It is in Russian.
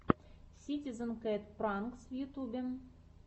ситизен кэт пранкс в ютюбе